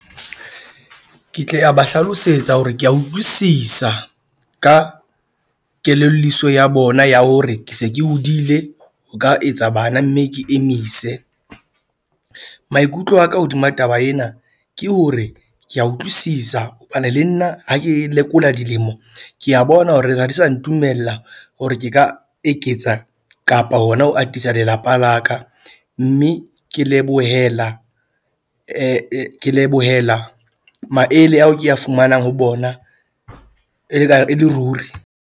Ke tle a ba hlalosetsa hore ke a utlwisisa ka kelelliso ya bona ya hore se ke hodile ho ka etsa bana. Mme ke emise, maikutlo a ka hodima taba ena ke hore ke a utlwisisa hobane le nna ha ke lekola dilemo ke a bona hore ha di sa ntumella hore ke ka eketsa kapa hona ho atisa lelapa la ka. Mme ke lebohela ke lebohela maele ao ke a fumanang ho bona e le ka e le ruri.